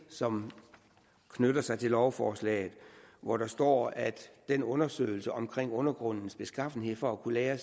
som knytter sig til lovforslaget hvor der står at den undersøgelse om undergrundens beskaffenhed for at kunne lagre